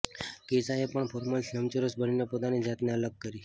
કેશાએ પણ ફોર્મલેસ લંબચોરસ બનીને પોતાની જાતને અલગ કરી